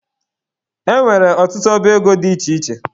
E nwere ọtụtụ ọba ego dị iche iche